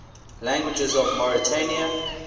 languages of mauritania